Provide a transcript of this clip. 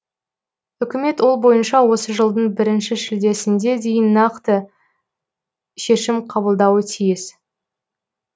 үкімет ол бойынша осы жылдың бірінші шілдесінде дейін нақты шешім қабылдауы тиіс